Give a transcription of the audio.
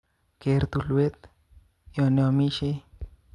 Ker tulwet yoniomishei